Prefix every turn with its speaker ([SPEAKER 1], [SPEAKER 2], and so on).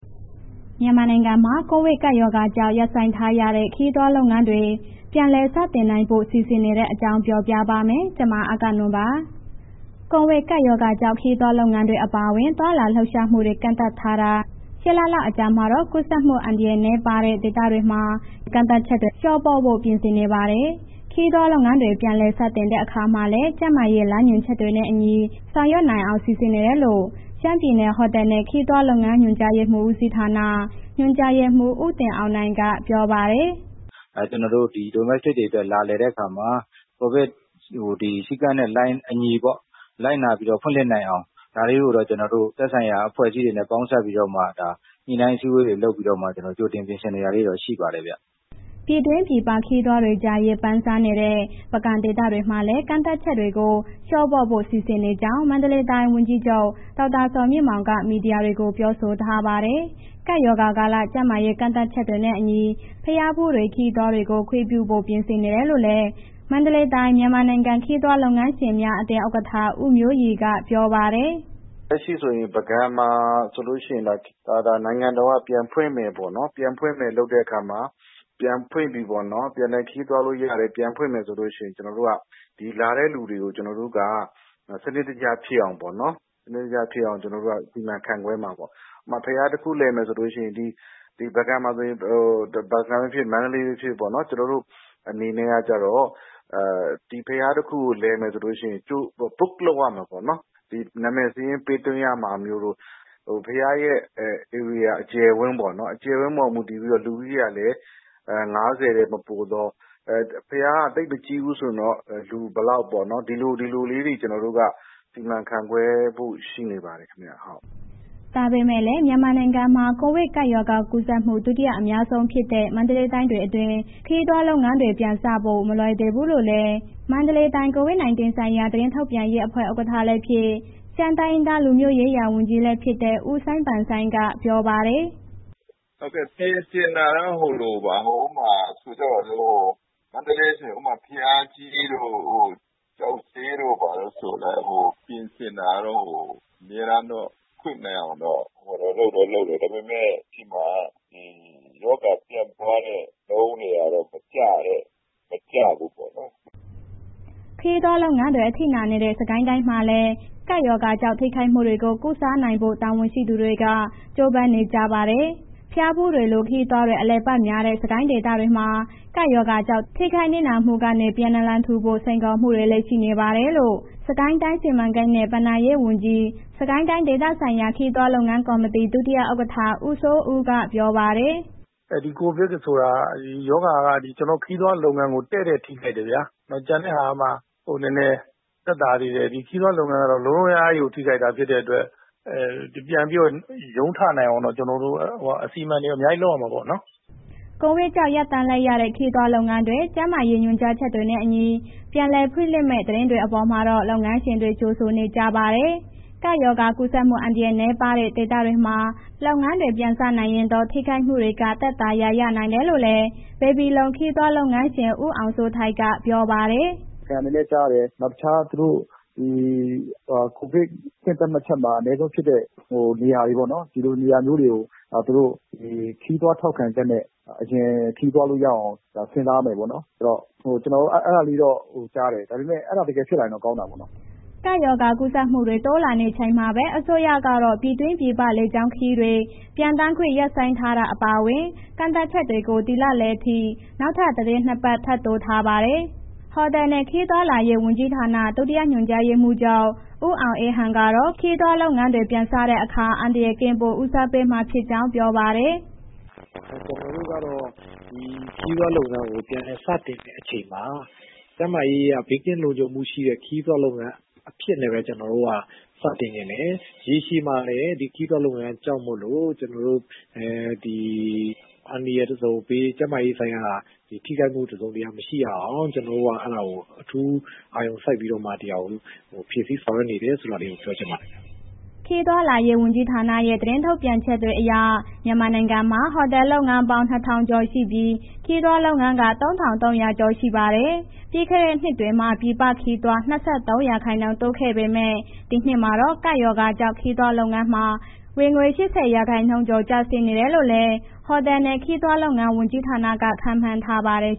[SPEAKER 1] မြန်မာနိုင်ငံမှာ ကိုဗစ်ကပ်ရောဂါကြောင့် ရပ်ဆိုင်းထားရတဲ့ ခရီးသွားလုပ်ငန်းတွေ ပြန်လည်လုပ်ကိုင်နိုင်ဖို့ စီစဉ်နေတဲ့အကြောင်းကို ဗွီအိုအေမြန်မာပိုင်းသတင်းထောက် မအဂ္ဂနွန်က ပြောပြပေးပါမယ်။ ကိုဗစ်ကပ်ရောဂါကြောင့် ခရီးသွားလုပ်ငန်းတွေ အပါအဝင် သွားလာလှုပ်ရှားမှုတွေ ကန့်သတ်ထားတာ ၈ လလောက် အကြာမှာတော့ ကူးစက်မှုအန္တရာယ် နည်းပါးတဲ့ ဒေသတွေမှာ ကန့်သတ်ချက်တွေကို လျှော့ပေါ့ဖို့ ပြင်ဆင်နေပါတယ်။ ခရီးသွားလုပ်ငန်းတွေ ပြန်လည် စတင်တဲ့အခါမှာလည်း ကျန်းမာရေး လမ်းညွှန်ချက်တွေနဲ့အညီ ဆောင်ရွက်နိုင်အောင် စီစဉ်နေတယ်လို့ ရှမ်းပြည်နယ် ဟိုတယ်နဲ့ ခရီးသွားလုပ်ငန်းညွှန်ကြားမှုဦးစီးဌာန ညွှန်ကြားရေးမှူး ဦးတင်အောင်နိုင်က ပြောပါတယ်
[SPEAKER 2] ။ “Domestic တွေအတွက် လာလည်တဲ့ အခါမှာ ကိုဗစ်စည်းကမ်းနဲ့ အညီပေါ့၊ လိုက်နာပြီးတော့ ဖွင့်လှစ်နိုင်အောင် ဒါတွေကို ကျနော်တို့ကတော့ သက်ဆိုင်ရာအဖွဲ့အစည်းတွေနဲ့ ပေါင်းစပ်ပြီးတော့မှ ညှိနှိုင်းအစည်းအဝေးတွေ လုပ်ပြီးတော့ ကြိုတင်ပြင်ဆင်နေတာလေးတွေ ရှိပါတယ်ဗျ။
[SPEAKER 1] ” ပြည်တွင်းပြည်ပ ခရီးသွားတွေကြား ရေပမ်းစားတဲ့ ပုဂံဒေသမှာလည်း ကန့်သတ်ချက်တွေကို လျှော့ပေါ့ဖို့ စီစဉ်နေကြောင်း မန္တလေးတိုင်း ဝန်ကြီးချုပ် ဒေါက်တာဇော်မြင့်မောင်က မီဒီယာတွေကို ပြောဆိုထားပါတယ်။ ကပ်ရောဂါကာလ ကျန်းမာရေး ကန့်သတ်ချက်တွေနဲ့အညီ ဘုရားဖူးတွေ၊ ခရီးသွားတွေကို ခွင့်ပြုနိုင်ဖို့ ပြင်ဆင်နေတယ်လို့လည်း မန္တလေးတိုင်း၊ မြန်မာနိုင်ငံ ခရီးသွားလုပ်ငန်းရှင်များ အသင်းဥက္ကဋ္ဌ ဦးမျိုးရီက ပြောပါတယ်။
[SPEAKER 2] “လက်ရှိဆိုရင် ပုဂံမှာဆိုလို့ရှိရင် နိုင်ငံတော်က ပြန်ဖွင့်မယ်ပေါ့နော်။ ပြန်လည်ခရီးသွားလို့ရမယ်၊ ပြန်ဖွင့်မယ်ဆိုလို့ရှိရင် ကျနော်တို့က ဒီလာတဲ့ လူတွေကို ကျနော်တို့က စနစ်တကျဖြစ်အောင်ပေါ့နော်... စီမံခန့်ခွဲမှာပေါ့။ ဥပမာ ဘုရားတစ်ခု လည်မယ်ဆိုလို့ရှိရင် ဒီပုဂံပဲ ဖြစ်ဖြစ်၊ မန္တလေးဖြစ်ဖြစ်ပေါ့နော်။ ကျနော်တို့အနေနဲ့ကျတော့ book လုပ်ရမယ်ပေါ့နော်။ နာမည်စာရင်းပေးသွားရမှာမျိုးတို့၊ ဘုရားရဲ့ ဧရိယာအကျယ်အဝန်းပေါ် မူတည်ပြီးတော့ လူတွေကလည်း ၅၀ ထက်မပိုသော ဘုရားကမကြီးဘူးဆိုရင် လူက ဘယ်လောက်ပေါ့နော်။ ဒီလို၊ ဒီလိုလေးတွေက ကျနော်တို့က စီမံခွဲခန့်ဖို့ရှိနေပါတယ်ခင်ဗျ။”
[SPEAKER 1] ဒါပေမဲ့လည်း မြန်မာနိုင်ငံမှာ ကိုဗစ်ကပ်ရောဂါကူးစက်မှု ဒုတိယ အများဆုံးဖြစ်တဲ့ မန္တလေးတိုင်းအတွင်း ခရီးသွားလုပ်ငန်းတွေ ပြန်စဖို့ မလွယ်သေးဘူးလို့လည်း မန္တလေးတိုင်း COVID-19 ဆိုင်ရာ သတင်းထုတ်ပြန်ရေးအဖွဲ့ ဥက္ကဋ္ဌဖြစ် ရှမ်းတိုင်းရင်းသားလူမျိုးရေးရာ ဝန်ကြီး ဦးစိုင်းပန်ဆိုင်က ပြောပါတယ်
[SPEAKER 2] ။ “မန္တလေးဆိုရင် ဥပမာ ဘုရားကြီးတို့၊ ကျောက်ဈေးတို့ ပြင်ဆင်တာတော့ အမြဲတမ်းတော့ ဖွင့်နိုင်အောင် လုပ်တော့ လုပ်တယ်။ ဒါပေမဲ့ ကျနော်တို့ဆီမှာ ရောဂါပြန့်ပွားတဲ့နှုန်းတွေက မကျဘူးပေါ့နော်။
[SPEAKER 1] ” ခရီးသွားလုပ်ငန်းတွေ အထိနာနေတဲ့ စစ်ကိုင်းတိုင်းမှာလည်း ကပ်ရောဂါကြောင့် ထိခိုက်မှုတွေကို ကုစားနိုင်ဖို့ တာဝန်ရှိသူတွေ ကြိုးပမ်းနေပါတယ်။ ဘုရားဖူးတွေလို ခရီးသွားတွေ အလည်အပတ်များတဲ့ စစ်ကိုင်းဒေသမှာ ကပ်ရောဂါကြောင့် ထိခိုက်နစ်နာမှုတွေကနေ ပြန်နလန်ထူဖို့ စိန်ခေါ်မှုတွေလည်း ရှိနေတယ်လို့ စစ်ကိုင်းတိုင်း စီမံကိန်းနဲ့ ဘဏ္ဍာရေးဝန်ကြီး၊ စစ်ကိုင်းတိုင်းဒေသဆိုင်ရာ ခရီးသွားလုပ်ငန်းကော်မတီ ဒုတိယဥက္ကဋ္ဌ ဦးစိုးဦးက ပြောပါတယ်
[SPEAKER 2] ။ “ကိုဗစ်ဆိုတာက ခရီးသွားလုပ်ငန်းကို တည့်တည့်ထိခိုက်တယ်ဗျာ။ ကျန်တဲ့ဟာကမှ နည်းနည်းသက်သာသေးတယ်။ ခရီးသွားလုပ်ငန်းက လုံးလုံးအများကြီးထိခိုက်တာ ဖြစ်တဲ့အတွက် ပြန်ပြီးရုန်းထနိုင်အောင် ကျနော်တို့ အစီအမံတွေ အများကြီး လုပ်ရမှာပေါ့နော်။
[SPEAKER 1] ” ကိုဗစ်ကြောင့် ရပ်တန့်လိုက်ရတဲ့ ခရီးသွားလုပ်ငန်းတွေ ကျန်းမာရေး ညွှန်ကြားချက်တွေနဲ့အညီ ပြန်လည်ဖွင့်လှစ်မယ့် သတင်းအပေါ်မှာတော့ လုပ်ငန်းရှင်တွေက ကြိုဆိုနေကြပါတယ်။ ကပ်ရောဂါကူးစက်မှု အန္တရာယ်နည်းပါးတဲ့ ဒေသတွေမှာ လုပ်ငန်းတွေ ပြန်စနိုင်ရင်တော့ ထိခိုက်မှုတွေက သက်သာရာ ရနိုင်တယ်လို့လည်း ဘေဘီလုံခရီးသွားလုပ်ငန်းရှင် ဦးအောင်စိုးထိုက် က ပြောပါတယ်။
[SPEAKER 2] “ပုဂံလည်း ကြားတယ်။ နောက်တခြား ကိုဗစ်အဆင့်သတ်မှတ်ချက်မှာ အနည်းဆုံးဖြစ်တဲ့ နေရာတွေပေါ့နော်... ဒီလိုနေရာမျိုးတွေကို သူတို့ ခရီးသွားထောက်ခံချက်နဲ့ အရင်ခရီးသွားလို့ရအောင် ကျနော်လည်း အဲ့ဒီလိုကြားတယ်။ ဒါပေမဲ့ အဲဒါတကယ်ဖြစ်လာရင်တော့ ကောင်းတယ်ပေါ့နော်။
[SPEAKER 1] ” ကပ်ရောဂါကူးစက်မှုတွေ တိုးလာနေချိန်မှာပဲ အစိုးရကတော့ ပြည်တွင်းပြည်ပ လေကြောင်းခရီးစဉ်တွေ ပျံသန်းခွင့် ရပ်ဆိုင်းထားတာ အပါအဝင် ကန့်သတ်ချက်တွေကို ဒီလလယ်အထိ နောက်ထပ် သီတင်း ၂ ပတ် ထပ်တိုးထားပါတယ်။ ဟိုတယ်နဲ့ ခရီးသွားလာရေးဝန်ကြီးဌာန၊ ဒုတိယညွှန်ကြားရေးမှူးချုပ် ဦးအောင်အေးဟန်ကတော့ ခရီးသွားလုပ်ငန်းတွေ ပြန်စတဲ့အခါ အန္တရာယ်ကင်းဖို့ ဦးစားပေးမှာဖြစ်ကြောင်း ပြောပါတယ်။
[SPEAKER 2] “ကျနော်တို့က ခရီးသွားလုပ်ငန်းတွေ ပြန်လည်စတင်တဲ့အချိန်မှာ ကျန်းမာရေးအရ ဘေးကင်းလုံခြုံးမှုရှိတဲ့ ခရီးသွားလုပ်ငန်းအဖြစ်နဲ့ပဲ ကျနော်တို့ စတင်ချင်တယ်။ ရေရှည်မှာလည်း ဒီခရီးသွားလုပ်ငန်းကြောင့်မို့လို့ အန္တရာယ်တစ်စုံတစ်ရာ၊ ကျန်းမာရေးဆိုင်ရာထိခိုက်မှု တစ်စုံတစ်ရာမရှိရအောင် ကျနော်တို့က အဲ့ဒါကို အထူးအာရုံစိုက်ပြီးတော့မှ ဒီဟာကို ဖြည့်ဆီဆောင်ရွက်နေတယ်ဆိုတာကို ပြောချင်ပါတယ်ခင်ဗျ။
[SPEAKER 1] ” ခရီးသွားလာရေး ဝန်ကြီးဌာနရဲ့ ထုတ်ပြန်ချက်တွေအရ မြန်မာနိုင်ငံမှာ ဟိုတယ်လုပ်ငန်းပေါင်း ၂,၀၀၀ ကျော်ရှိပြီး ခရီးသွားလုပ်ငန်းက ၃,၃၀၀ ကျော်ရှိပါတယ်။ ပြီးခဲ့တဲ့နှစ်မှာ ပြည်ပခရီးသွား ၂၃ ရာခိုင်နှုန်းတိုးလာခဲ့ပေမဲ့ ဒီနှစ်မှာတော့ ကပ်ရောဂါကြောင့် ခရီးသွားလုပ်ငန်းမှာ ဝင်ငွေ ၈၀ ရာခိုင်နှုန်းကျော် ကျဆင်းနိုင်တယ်လို့လည်း ဟိုတယ်နဲ့ ခရီးသွားလုပ်ငန်း ဝန်ကြီးဌာနက ခန့်မှန်းထားပါတယ်